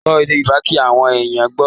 Sọ èdè Yorùbá kí àwọn èèyàn gbọ́.